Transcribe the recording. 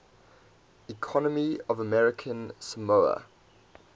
economy of american samoa